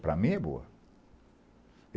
Para mim, é boa.